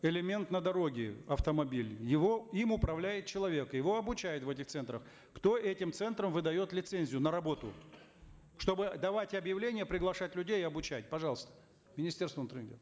элемент на дороге автомобиль его им управляет человек его обучают в этих центрах кто этим центрам выдает лицензию на работу чтобы давать объявления приглашать людей и обучать пожалуйста министерство внутренних дел